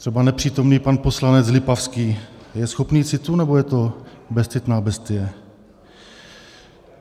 Třeba nepřítomný pan poslanec Lipavský - je schopný citů, nebo je to bezcitná bestie?